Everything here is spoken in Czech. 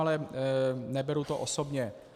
Ale neberu to osobně.